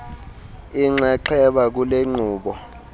inxaxheba kule nkqubo